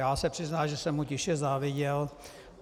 Já se přiznám, že jsem mu tiše záviděl.